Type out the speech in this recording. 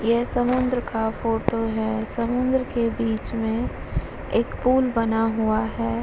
यह समुद्र का फोटो है। समुद्र के बीच में एक पूल बना हुआ है।